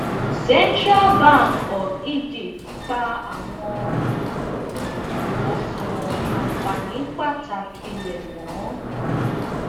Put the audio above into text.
central bank of egypt pa awọn oṣuwọn anfani pataki rẹ mọ